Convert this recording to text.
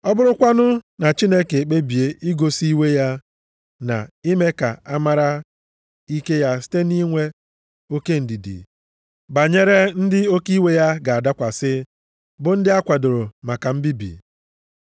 Ọ bụrụkwanụ na Chineke ekpebie igosi iwe ya na ime ka a mara ike ya site nʼinwe oke ndidi banyere ndị oke iwe ya ga-adakwasị bụ ndị a kwadoro maka mbibi?